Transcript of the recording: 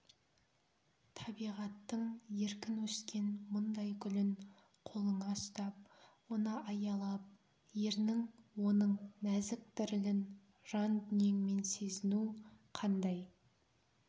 табиғаттың еркін өскен мұндай гүлін қолыңа ұстап оны аялап ернің оның нәзік дірілін жан дүниеңмен сезіну қандай